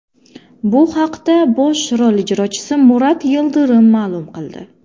Bu haqda bosh rol ijrochisi Murat Yildirim ma’lum qildi.